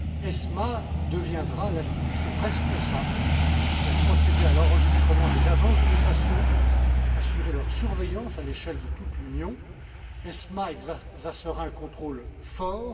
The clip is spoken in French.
ESMA deviendra l'institution responsable pour procéder à l'enregistrement des agences de notation, assurer leur surveillance à l'échelle de toute l'Union, et elle exercera un contrôle fort.